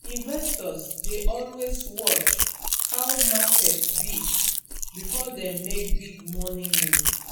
investors dey always watch how market be before dem make big money move